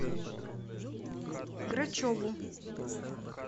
грачеву